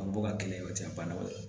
An bɛ bɔ ka kelen o tɛ an ba o ye